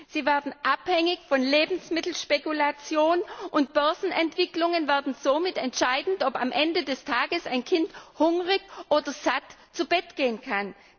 Sie werden abhängig von Lebensmittelspekulation, und Börsenentwicklungen werden somit entscheidend dafür, ob am Ende des Tages ein Kind hungrig oder satt zu Bett gehen kann.